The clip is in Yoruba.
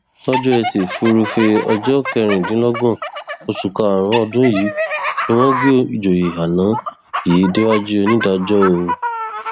tìrìbùnà da ẹjọ tí ẹgbẹ epp pè ta ko tinubu sheffman nù